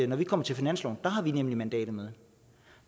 når vi kommer til finansloven har vi et mandat med